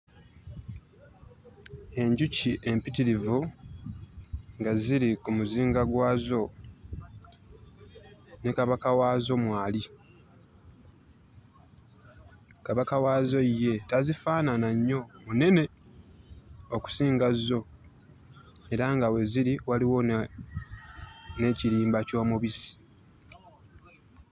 Enjuki empitirivu nga ziri ku muzinga gwazo, ne kabaka waazo mwali. Kabaka waazo ye tazifaanana nnyo, munene okusinga zo era nga we ziri waliwo n'ekirimba ky'omubisi.